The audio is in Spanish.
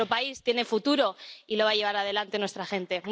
Nuestro país tiene futuro y lo va a llevar adelante nuestra gente.